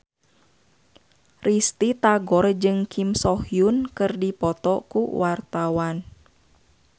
Risty Tagor jeung Kim So Hyun keur dipoto ku wartawan